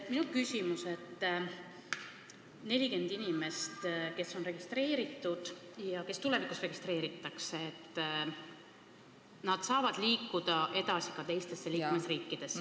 Minu küsimus on selline: need 40 inimest, kes on juba registreeritud ja kes lähemas tulevikus registreeritakse, saavad liikuda edasi ka teistesse liikmesriikidesse.